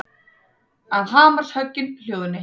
Að hamarshöggin hljóðni.